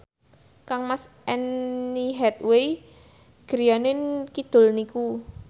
kangmas Anne Hathaway griyane kidul niku